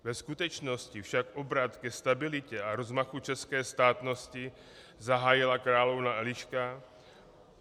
Ve skutečnosti však obrat ke stabilitě a rozmachu české státnosti zahájila královna Eliška.